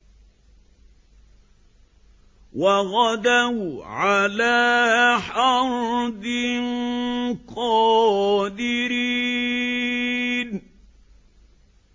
وَغَدَوْا عَلَىٰ حَرْدٍ قَادِرِينَ